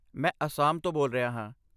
ਮੈਂ ਅਸਾਮ ਤੋਂ ਬੋਲ ਰਿਹਾ ਹਾਂ।